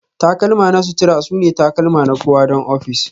takalma na sutura sune takalma na kowa don ofis